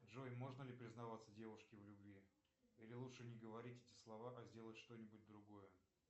джой можно ли признаваться девушке в любви или лучше не говорить эти слова а сделать что нибудь другое